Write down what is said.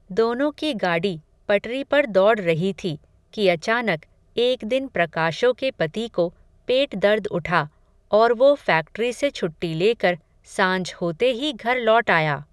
दोनो की गाडी पटरी पर दौड रही थी, कि अचानक, एक दिन प्रकाशो के पति को, पेट दर्द उठा, और वो फ़ैक्टरी से छुट्टी लेकर, सांझ होते ही घर लौट आया